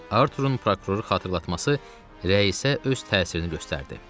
Arturun prokuroru xatırlatması rəisə öz təsirini göstərdi.